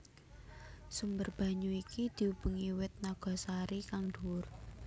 Sumber banyu iki diubengi wit nagasari kang dhuwur